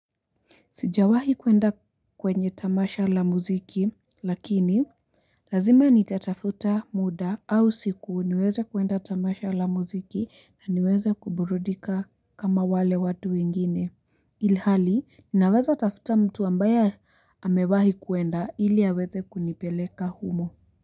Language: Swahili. Sijawahi kwenda kwenye tamasha la muziki lakini Lazima nitatafuta muda au siku niweze kwenda tamasha la muziki na niweze kuburudika kama wale watu wengine ilhali ninaweza tafuta mtu ambaye amewahi kuenda ili aweze kunipeleka humo.